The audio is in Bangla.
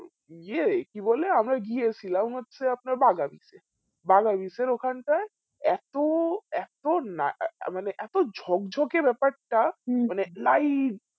ইয়ে কি বলে আমরা গিয়েছিলাম হচ্ছে আপনার বাগান গিয়েছেন ওখানটায় এতো এতো না এ এ মানে এতো ঝোক ঝোকে ব্যাপারটা মানে light